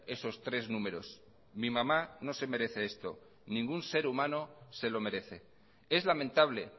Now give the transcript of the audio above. esos tres números mi mamá no se merece esto ningún ser humano se lo merece es lamentable